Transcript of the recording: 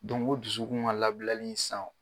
o dusukun ŋa labilali san o